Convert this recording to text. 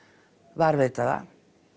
varðveita það